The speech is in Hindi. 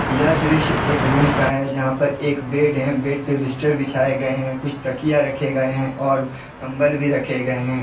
यह दृश्य एक रूम का हैजहां पर एक बेड हैं बेड पर बिस्तर बिछाए गए हैं कुछ तकिया रखे गए हैं और कंबल भी रखे गए हैं।